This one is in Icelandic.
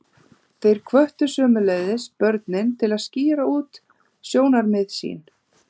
Þeir hvöttu sömuleiðis börnin til að skýra út sjónarmið sín.